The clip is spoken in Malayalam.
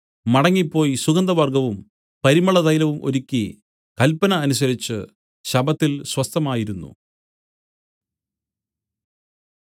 മടങ്ങിപ്പോയി സുഗന്ധവർഗ്ഗവും പരിമളതൈലവും ഒരുക്കി കല്പന അനുസരിച്ചു ശബ്ബത്തിൽ സ്വസ്ഥമായിരിന്നു